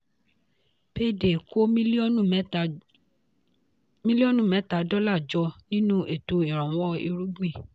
payday kó mílíọ̀nù mẹ́ta dọ́là jọ nínú ètò ìrànwọ́ irúgbìn.